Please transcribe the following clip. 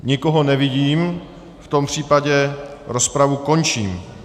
Nikoho nevidím, v tom případě rozpravu končím.